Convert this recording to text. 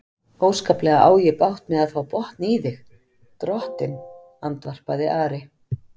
Óskaplega á ég bágt með að fá botn í þig, drottinn, andvarpaði Ari.